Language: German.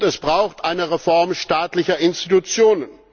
Und es braucht eine Reform staatlicher Institutionen.